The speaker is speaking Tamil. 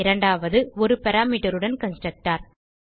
இரண்டாவது ஒரு parameterஉடன் கன்ஸ்ட்ரக்டர்